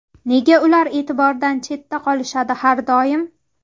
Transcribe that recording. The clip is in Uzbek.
Nega ular e’tibordan chetda qolishadi har doim?